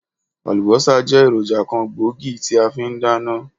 Àlùbósà jẹ́ èròjà kan gbòógì tí a fi n dáná